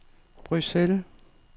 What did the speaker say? Bruxelles